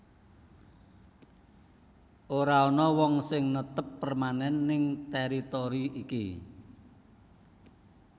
Ora ana wong sing netep permanen ning teritori iki